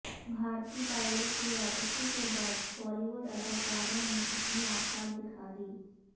بھارتی پائلٹ کی واپسی کے بعد بالی ووڈ اداکاروں نے اپنی اوقات دکھادی